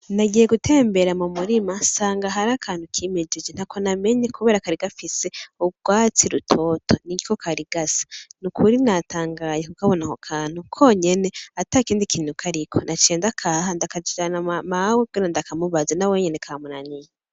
Nagiye gutembera mu murima nsanga harakantu kimejeje ntako namenye kubera kari gafise gisa urwatsi rutoto niko kari gasa n’ukuri natangaye kubona ako kantu konyene atakindi kintu kariko naciye ndakaha ndakajane, Mawe kugira ndakamubaze nawenye kamunaniye.